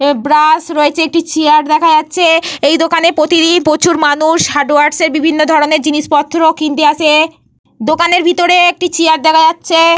এহ ব্রাশ রয়েছে একটি চেয়ার দেখা যাচ্ছে। এই দোকানে প্রতিদিন প্রচুর মানুষ হার্ডওয়ার্সের বিভিন্ন ধরণের জিনিসপত্র কিনতে আসে। দোকানের ভিতরে একটি চেয়ার দেখা যাচ্ছে।